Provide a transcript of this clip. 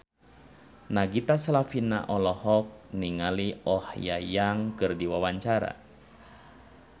Nagita Slavina olohok ningali Oh Ha Young keur diwawancara